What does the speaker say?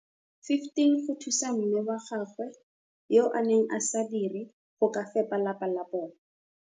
15 go thusa mme wa gagwe yo a neng a sa dire go ka fepa lapa la bona.